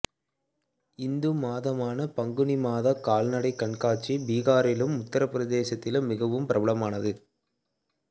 இந்து மாதமான பங்குனி மாதக் கால்நடை கண்காட்சி பீகாரிலும் உத்தரபிரதேசத்திலும் மிகவும் பிரபலமானது